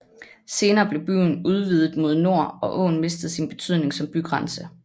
Senere blev byen udvidet mod nord og åen mistede sin betydning som bygrænse